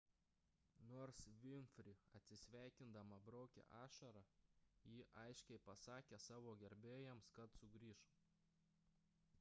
nors vinfri atsisveikindama braukė ašarą ji aiškiai pasakė savo gerbėjams kad sugrįš